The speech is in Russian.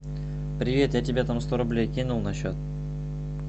привет я тебе там сто рублей кинул на счет